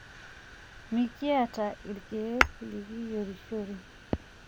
Mikiata ilkeek nikiyierishore.